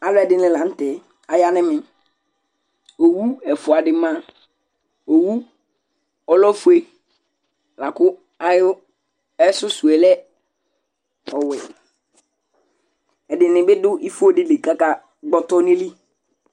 Alʋɛdɩnɩ la n'tɛ aya n'ɛmɛ Owu ɛfuadɩ ma, owu ɔlɛ ofue lakʋ ayʋ susu lɛ ɔwɛ, ɛdɩnɩ bɩ dʋ ifo dɩli k'aka gbɔtɔ n'ayili